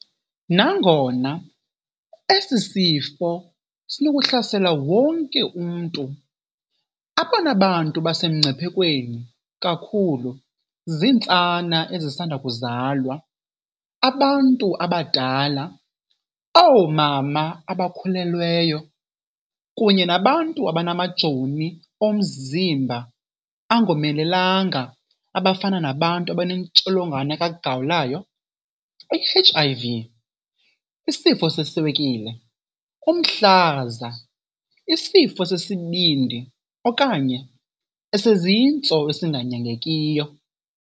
Nangona esi sifo sinokuhlasela wonke umntu, abona bantu basemngciphekweni kakhulu zintsana ezisanda kuzalwa, abantu abadala, oomama abakhulelweyo kunye nabantu abanamajoni omzimba angomelelanga abafana nabantu abaneNtsholongwane kaGawulayo i-HIV, isifo seswekile, umhlaza, isifo sesibindi okanye esezintso esinganyangekiyo.